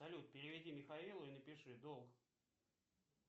салют переведи михаилу и напиши долг